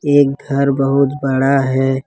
ये घर बहुत बड़ा है।